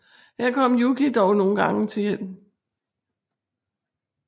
Her kommer Yuki dog nogle gange til hjælp